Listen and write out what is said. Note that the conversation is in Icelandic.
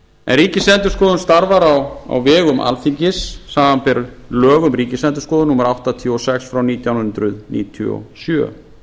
en ríkisendurskoðun starfar á vegum alþingis samanber lög um ríkisendurskoðun númer áttatíu og sex frá nítján hundruð níutíu og sjö